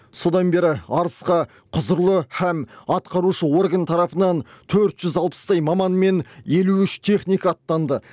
содан бері арысқа құзырлы һәм атқарушы орган тарапынан төрт жүз алпыстай маман мен елу үш техника аттанды